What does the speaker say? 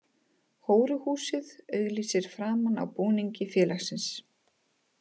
Hóruhúsið auglýsir framan á búningi félagsins.